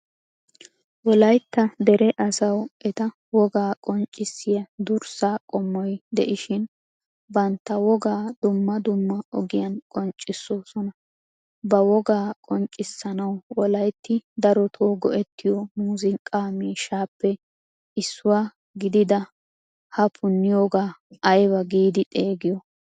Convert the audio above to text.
Wolaytta dere asawu eta wogaa qonccissiyaa durssa qommoy de'ishin bantta wogaa dumma dumma ogiyan qonccissosona. Ba wogaa qonccissanawu wolaytti daroto go"ettiyo muuzziqqa miishshappe issuwaa gidida ha puniyoga ayba gidi xeegiyo?